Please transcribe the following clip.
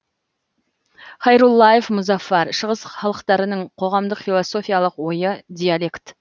хайруллаев мұзаффар шығыс халықтарының қоғамдық философиялық ойы диалект